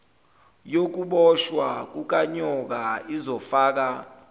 yokuboshwa kukanyoka izofaka